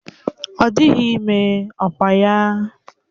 Ọ dịghị ime, ọkwa ya?